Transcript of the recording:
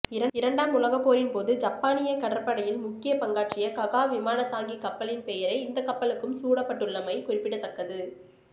இரண்டாம் உலகப்போரின் போது ஜப்பானிய கடற்படையில் முக்கிய பங்காற்றிய ககா விமானந்தாங்கி கப்பலின் பெயரே இந்தக்கப்பலுக்கும் சூடப்பட்டுள்ளமை குறிப்பிடத்கத்கது